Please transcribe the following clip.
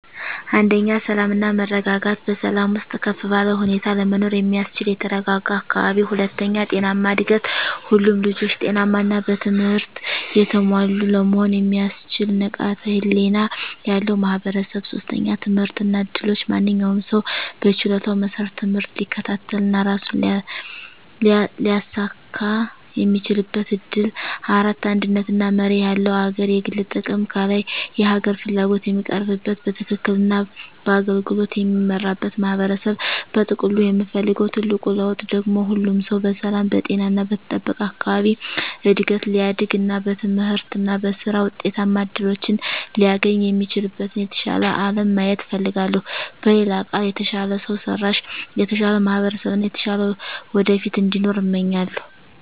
1. ሰላም እና መረጋጋት በሰላም ውስጥ ከፍ ባለ ሁኔታ ለመኖር የሚያስችል የተረጋጋ አካባቢ። 2. ጤናማ እድገት ሁሉም ልጆች ጤናማ እና በትምህርት የተሞሉ ለመሆን የሚያስችል ንቃተ ህሊና ያለው ማህበረሰብ። 3. ትምህርት እና እድሎች ማንኛውም ሰው በችሎታው መሰረት ትምህርት ሊከታተል እና ራሱን ሊያሳኵን የሚችልበት እድል። 4. አንድነት እና መርህ ያለው አገር የግል ጥቅም ከላይ የሀገር ፍላጎት የሚቀርብበት፣ በትክክል እና በአገልግሎት የሚመራበት ማህበረሰብ። በጥቅሉ የምፈልገው ትልቁ ለውጥ ደግሞ ሁሉም ሰው በሰላም፣ በጤና እና በተጠበቀ አካባቢ እድገት ሊያድግ እና በትምህርት እና በሥራ ውጤታማ እድሎችን ሊያገኝ የሚችልበትን የተሻለ አለም ማየት እፈልጋለሁ። በሌላ ቃል፣ የተሻለ ሰው ሰራሽ፣ የተሻለ ማህበረሰብ እና የተሻለ ወደፊት እንዲኖር እመኛለሁ።